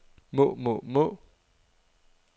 må må må